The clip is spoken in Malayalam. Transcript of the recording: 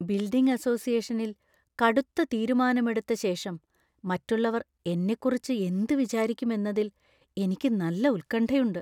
ബിൽഡിംഗ് അസോസിയേഷനിൽ കടുത്ത തീരുമാനമെടുത്ത ശേഷം മറ്റുള്ളവർ എന്നെക്കുറിച്ച് എന്ത് വിചാരിക്കും എന്നതിൽ എനിക്ക് നല്ല ഉത്കണ്ഠയുണ്ട്.